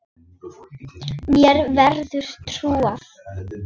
Mér verður trúað.